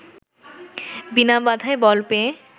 বিনা বাধায় বল পেয়ে